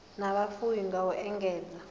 na vhufuwi na u engedza